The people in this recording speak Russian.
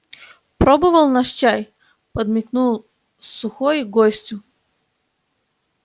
пробовал наш чай подмигнул сухой гостю